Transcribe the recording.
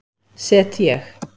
set ég